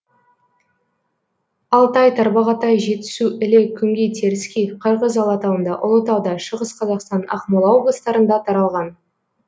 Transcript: алтай тарбағатай жетісу іле күнгей теріскей қырғыз алатауында ұлытауда шығыс қазақстан ақмола облыстарында таралған